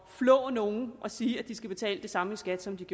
flå nogen at sige at de skal betale det samme i skat som de